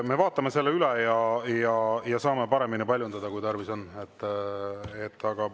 Me vaatame selle üle ja saame paremini paljundada, kui tarvis on.